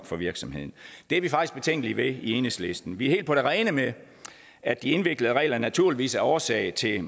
for virksomheden det er vi faktisk betænkelige ved i enhedslisten vi er helt på det rene med at de indviklede regler naturligvis er årsag til